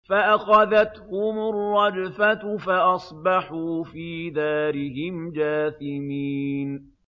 فَأَخَذَتْهُمُ الرَّجْفَةُ فَأَصْبَحُوا فِي دَارِهِمْ جَاثِمِينَ